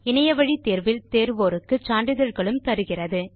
இணைய வழி தேர்வில் தேருவோருக்கு சான்றிதழ்களும் தருகிறது